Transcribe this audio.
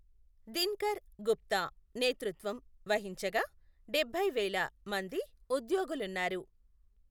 దినకర్ గుప్తా నేతృత్వం వహించగా, డభైవేల మంది ఉద్యోగులున్నారు.